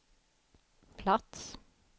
plats